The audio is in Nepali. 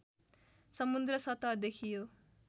समुद्र सतहदेखि यो